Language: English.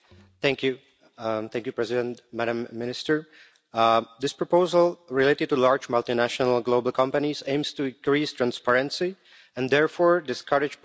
Mr President, Madam Minister, this proposal, related to large multinational global companies, aims to increase transparency and therefore discourage profit shifting.